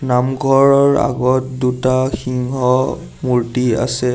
নামঘৰৰ আগত দুটা সিংহ মূৰ্তি আছে।